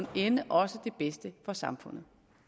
ende også det bedste for samfundet